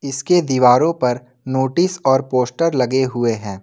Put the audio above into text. इसके दीवारों पर नोटिस और पोस्टर लगे हुए हैं।